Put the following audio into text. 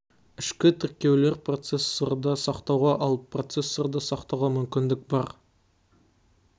ішкі тіркеулер процессорда сақтауға ал процессорда сақтауға мүмкіндік бар